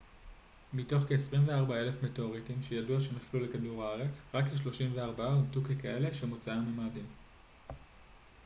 מתוך כ-24,000 מטאוריטים שידוע שנפלו לכדור הארץ רק כ-34 אומתו ככאלה שמוצאם ממאדים